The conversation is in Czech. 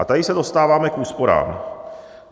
A tady se dostáváme k úsporám.